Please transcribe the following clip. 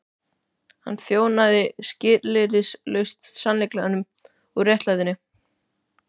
Hann þjónaði skilyrðislaust sannleikanum og réttlætinu.